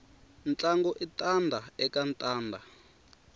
ntlangu i tanda eka tanda